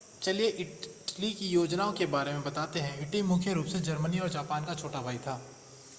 चलिए इटली की योजनाओं के बारे में बताते हैं इटली मुख्य रूप से जर्मनी और जापान का छोटा भाई था